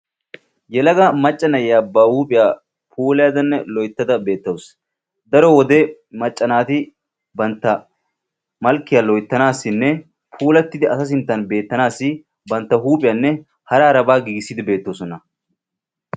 yelaga macca na'iyaa ba huuphphiyaa puulaydanne loyttada beettawus. daro wode macca naati bantta malkkiyaa loyttanaassinne puulattidi asa sinttan beettanaassi bantta huuphphiyaanne hara harabaa giigissiidi beettoosona.